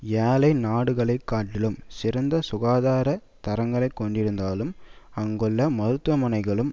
ஏழை நாடுகளை காட்டிலும் சிறந்த சுகாதார தரங்களைக் கொண்டிருந்தாலும் அங்குள்ள மருத்துவமனைகளும்